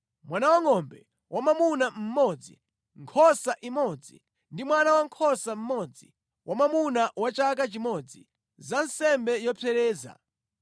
mwana wangʼombe wamwamuna mmodzi, nkhosa imodzi ndi mwana wankhosa mmodzi wamwamuna wa chaka chimodzi, za nsembe yopsereza;